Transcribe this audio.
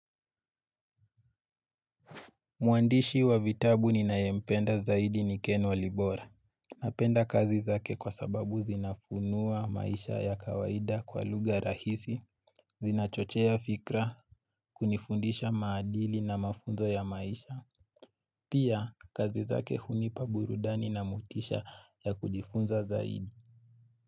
Muandishi wa vitabu ninayependa zaidi nikenwa libora. Napenda kazi zake kwa sababu zinafunuwa maisha ya kawaida kwa luga rahisi, zinachochea fikra, kunifundisha maadili na mafunzo ya maisha. Pia kazi zake hunipa burudani na motisha ya kujifunza zaidi.